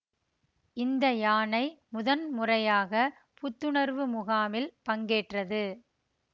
இந்த யானை முதன்முறையாகப் புத்துணர்வு முகாமில் பங்கேற்றது